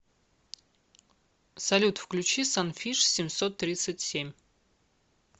салют включи санфиш семьсот тридцать семь